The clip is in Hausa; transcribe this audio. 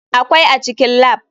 Akwai a cikin lab.